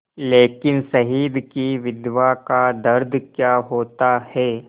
लेकिन शहीद की विधवा का दर्द क्या होता है